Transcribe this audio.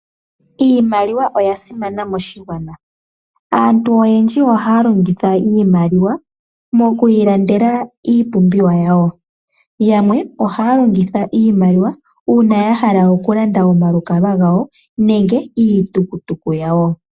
Iinaliwa oya simana moshigwana. Aantu oyendji ohaya longitha iimaliwa moku ilandela iipumbiwa yawo. Yamwe ohaya longitha iimaliwa uuna ya haka okulanda omalukalwa gawo nenge iitukutuku yawo.